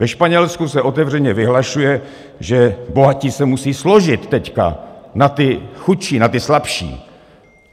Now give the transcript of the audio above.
Ve Španělsku se otevřeně vyhlašuje, že bohatí se musí složit teď na ty chudší, na ty slabší.